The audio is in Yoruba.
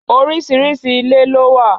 Orísìírísìí ilé ló wà